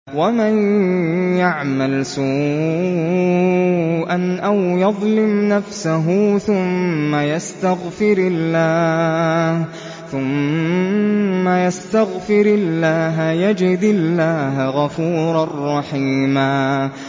وَمَن يَعْمَلْ سُوءًا أَوْ يَظْلِمْ نَفْسَهُ ثُمَّ يَسْتَغْفِرِ اللَّهَ يَجِدِ اللَّهَ غَفُورًا رَّحِيمًا